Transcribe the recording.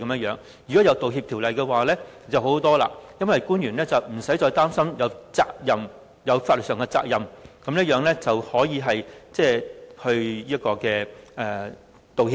如果有《條例草案》便好多了，因為官員不用再擔心有法律上的責任，繼而可以道歉。